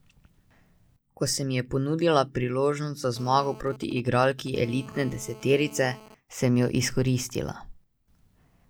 Ko se mi je ponudila priložnost za zmago proti igralki elitne deseterice, sem jo izkoristila.